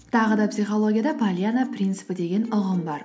тағы да психологияда пальяно принципі деген ұғым бар